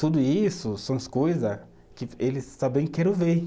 Tudo isso são as coisa que eles também querem ver.